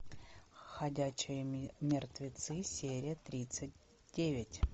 ходячие мертвецы серия тридцать девять